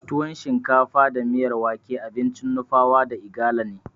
Tuwon shinkafa da miyar wake abincin Nupawa da Igala ne.